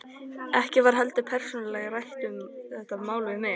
Ekki var heldur persónulega rætt um þetta mál við mig.